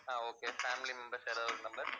ஆஹ் okay, family members யாராவது ஒரு number